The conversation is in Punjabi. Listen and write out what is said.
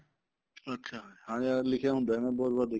ਅੱਛਿਆ ਹਾਂਜੀ ਹਾਂ ਲਿਖਿਆ ਹੁੰਦਾ ਇਹਨਾ ਪਰ ਬਹੁਤ ਵਾਰ ਦੇਖੀਆ